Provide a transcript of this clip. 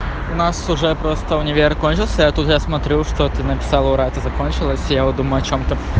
у нас уже просто универ кончился я тоже смотрю что ты написала ура это закончилась я вот думаю о чем ты